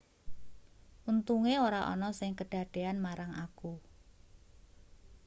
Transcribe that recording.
untunge ora ana sing kedadean marang aku